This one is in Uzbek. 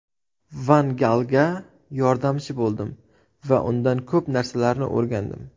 Van Galga yordamchi bo‘ldim va undan ko‘p narsalarni o‘rgandim.